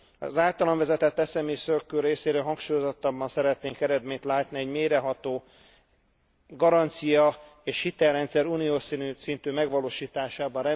Az általam vezetett SMI Circle részéről hangsúlyozottabban szeretnénk eredményt látni egy mélyreható garancia és hitelrendszer uniós szintű megvalósításában.